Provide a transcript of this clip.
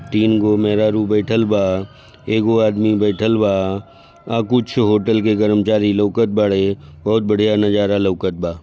तीन गो मेहरारू बइठल बा एगो आदमी बइठल बा आ कुछ होटल के कर्मचारी लोकत बड़े बहुत बढ़िया नज़ारा लोकत बा।